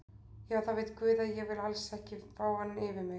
Já það veit guð að ég vil alls ekki fá hann yfir mig.